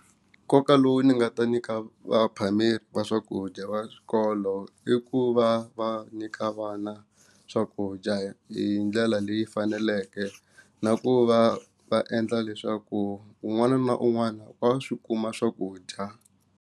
Nkoka lowu ni nga ta nyika vaphameri va swakudya va swikolo i ku va va nyika vana swakudya hi ndlela leyi faneleke na ku va va endla leswaku un'wana na un'wana wa swi kuma swakudya.